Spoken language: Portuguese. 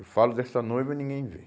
Eu falo dessa noiva e ninguém vê.